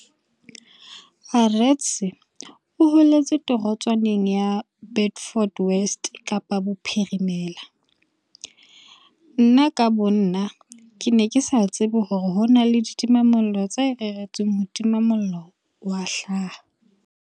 Arendse o holetse torotswaneng ya Beaufort West Kapa Bophirimela. Nna ka bonna, ke ne ke sa tsebe hore ho na le ditimamollo tse reretsweng ho tima mollo wa hlaha.